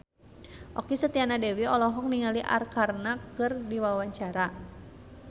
Okky Setiana Dewi olohok ningali Arkarna keur diwawancara